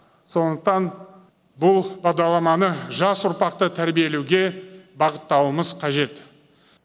сондықтан бұл бағдарламаны жас ұрпақты тәрбиелеуге бағыттауымыз қажет